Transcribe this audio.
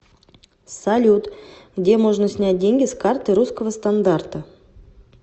салют где можно снять деньги с карты русского стандарта